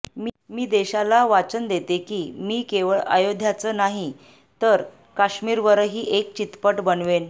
मी देशाला वाचन देते की मी केवळ अयोध्याचं नाही तर काश्मीरवरही एक चितपट बनवेन